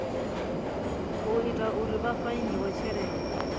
ita uri vha fainiwe tshelede